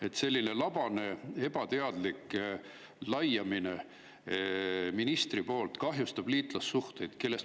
Ministri selline labane ebateadlik laiamine kahjustab meie liitlassuhteid.